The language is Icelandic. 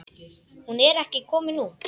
Hún er ekki komin út.